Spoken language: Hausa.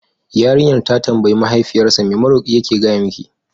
Yarinyar ta tambayi Mahaifiyarsa, me maroƙi yake gaya miki?